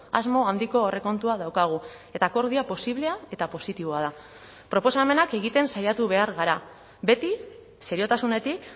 asmo handiko aurrekontua daukagu eta akordioa posiblea eta positiboa da proposamenak egiten saiatu behar gara beti seriotasunetik